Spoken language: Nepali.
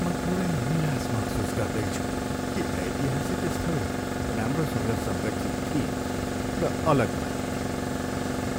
म थोरै निराश महसुस गर्दैछु कि ऐतिहासिक स्थल राम्रोसँग संरक्षित थिएन र अलग भएको थियो।